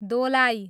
Dolai